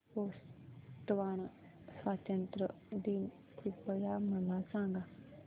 Botswana स्वातंत्र्य दिन कृपया मला सांगा